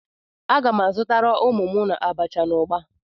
Aga m azutara ụmụ m abacha na ugba.